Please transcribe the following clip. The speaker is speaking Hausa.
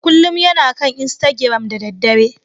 Kullum yana kan istagiram da daddare.